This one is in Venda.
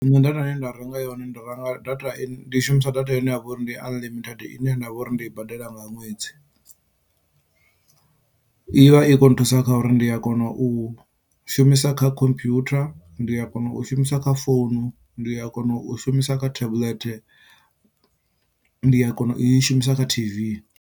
Nṋe data i ne nda renga yone ndi renga data ndi shumisa data ine yavha uri ndi unlimited ine ndavha uri ndi i badela nga ṅwedzi i vha i khou nthusa kha uri ndi a kona u shumisa kha computer, ndi a kona u shumisa kha founu, ndi a kona u shumisa kha tablet, ndi a kona u i shumisa kha t_v.